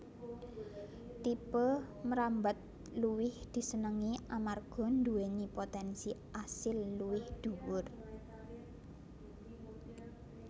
Tipe mrambat luwih disenengi amarga nduwèni potènsi asil luwih dhuwur